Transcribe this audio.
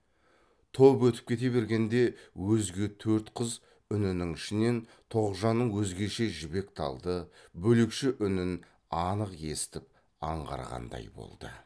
топ өтіп кете бергенде өзге төрт қыз үнінің ішінен тоғжанның өзгеше жібек талды бөлекше үнін анық естіп аңғарғандай болды